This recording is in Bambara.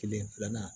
Kelen filanan